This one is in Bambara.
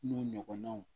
N'o ɲɔgɔnnaw